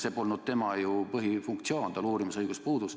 See polnud tema põhifunktsioon, tal uurimisõigus puudus.